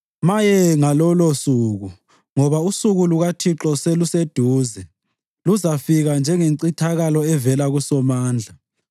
Maye ngalolosuku! Ngoba usuku lukaThixo seluseduze; luzafika njengencithakalo evela kuSomandla.